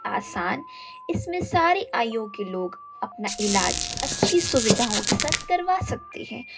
आसान इसमें सारी आयु के लोग अपना इलाज अच्छी सुविधाओं के साथ करवा सकते हैं।